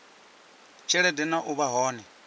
tshelede na u vha hone